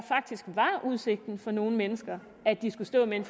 udsigten for nogle mennesker at de skulle stå med en